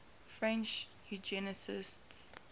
french eugenicists